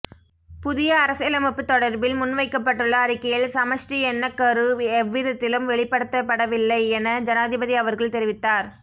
புதிய அரசியலமைப்பு தொடர்பில் முன்வைக்கப்பட்டுள்ள அறிக்கையில் சமஷ்டி எண்ணக்கரு எவ்விதத்திலும் வெளிப்படுத்தப்படவில்லையென ஜனாதிபதி அவர்கள் தெரிவித்தார்